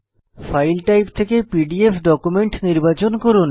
file type থেকে PDF document নির্বাচন করুন